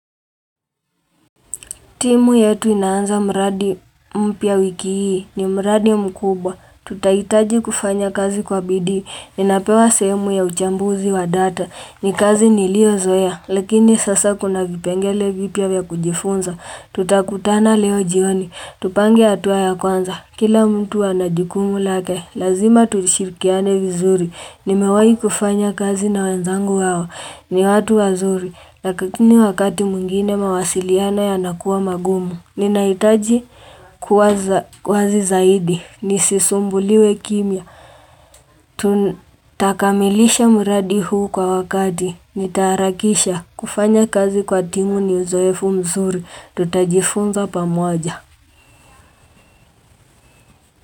Timu yetu inaanza mradi mpya wiki hii ni mradi mkubwa. Tutahitaji kufanya kazi kwa bidii. Ninapewa sehemu ya uchambuzi wa data. Ni kazi niliyo zoea. Lakini sasa kuna vipengele vipya vya kujifunza. Tutakutana leo jioni. Tupange hatua ya kwanza. Kila mtu anajukumu lake. Lazima tulishirikiane vizuri. Nimewahi kufanya kazi na wenzangu wao. Ni watu wazuri. Na kila wakati mwingine mawasiliano yanakuwa magumu Ninahitaji kuweza zaidi Nisisumbuliwe kimya Tutakamilisha muradi huu kwa wakati Nitaharakisha kufanya kazi kwa timu ni uzoefu mzuri Tutajifunza pamoja.